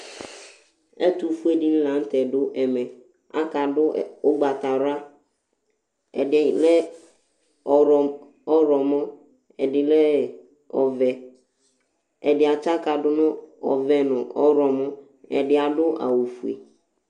ɛtʊfue alʊɛdɩnɩ lanʊtɛ dʊ ɛmɛ atanɩ adʊ awu ugbatawla, ɛdɩnɩ ɔwlɔmɔ, ɛdɩ lɛ ɔvɛ, ɛdɩ amɔlɔdʊ nʊ ɔvɛ nʊ ɔwlɔmɔ, ɛdɩ adʊ awufue